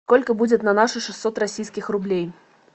сколько будет на наши шестьсот российских рублей